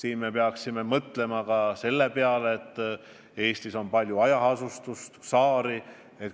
Aga me peame mõtlema ka selle peale, et Eestis on palju hajaasustust ja saari.